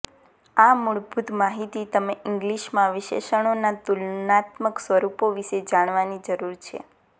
આ મૂળભૂત માહિતી તમે ઇંગલિશ માં વિશેષણો ના તુલનાત્મક સ્વરૂપો વિશે જાણવાની જરૂર છે